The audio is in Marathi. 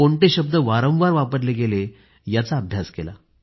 कोणते शब्द वारंवार वापरले गेले याचा अभ्यास केला